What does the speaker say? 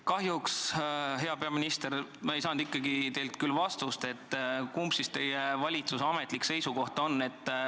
Kahjuks, hea peaminister, ei saanud ma teilt küll vastust, kumb siis teie valitsuse ametlik seisukoht on.